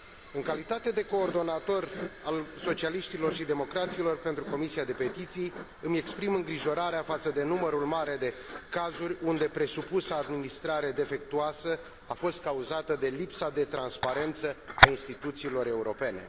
În calitate de coordonator al Socialiștilor și Democraților în Comisia pentru petiții, îmi exprim îngrijorarea față de numărul mare de cazuri unde presupusa administrare defectuoasă a fost cauzată de lipsa de transparență a instituțiilor europene.